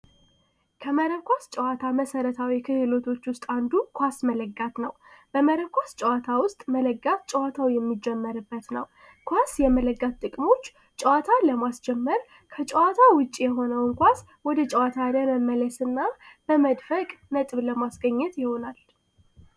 ከመረብ ኳስ ጨዋታ መሰረታዊ ክህሎት ዉስጥ አንዱ መለጋት ነዉ። በመረብ ኳስ ጨዋታ ዉስጥ መለጋት ጨዋታው የሚጀመርበት ነዉ። ኳስ የመለጋት ጥቅሞች ጨዋታውን ለማስጀመር ከጨዋታ ዉጭ የሆኑ ተጨዋቾች እንዲገቡ